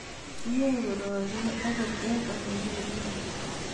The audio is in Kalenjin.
Yaei kororie akot eng Ole mi rirek